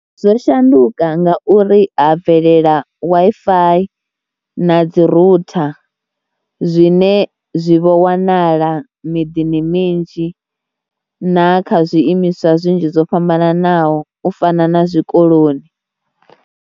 Zwo shanduka ngauri ha bvelela Wi-Fi na dzi rooter zwine zwi vho wanala miḓini minzhi na kha zwiimiswa zwinzhi zwo fhambananaho u fana na zwikoloni.